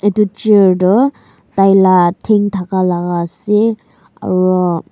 etu chair tu tai la then thaka laga ase aru.